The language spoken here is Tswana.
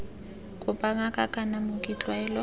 kopa ngaka kana mooki tlwaelo